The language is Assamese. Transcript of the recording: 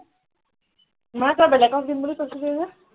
নহয় তই বেলেগক দিম বুলি কৈছিলি যে